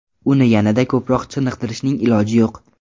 Uni yanada ko‘proq chiniqtirishning iloji yo‘q.